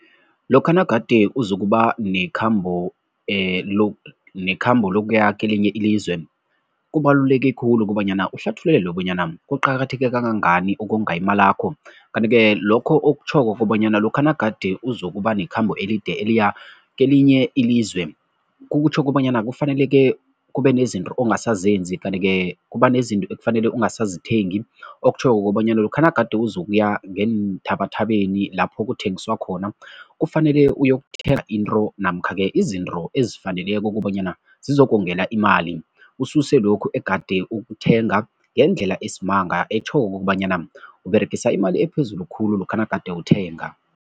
Lokha nagade uzokuba nekhambo nekhambo lokuya kelinye ilizwe, kubaluleke khulu kobanyana uhlathululelwe bonyana kuqakatheke kangangani ukonga imalakho kanti-ke lokho okutjhoko kobanyana lokha nagade uzokuba nekhambo elide eliya kelinye ilizwe, kutjho kobanyana kufaneleke kube nezinto ongasazenzi kanti-ke kuba nezinto ekufanele ungasazithengi, okutjhoko kobanyana lokha nagade uzokuya ngeenthabathabeni lapho kuthengiswa khona kufanele uyokuthenga into namkha izinto ezifaneleko kobanyana zizokongela imali, ususe lokhu egade ukuthenga ngendlela esimanga, etjhoko kokobanyana uberegise imali ephezulu khulu lokha nagade uthenga.